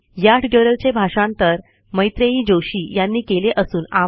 या ट्युटोरियलचे भाषांतर मैत्रेयी जोशी यांनी केले असून आवाज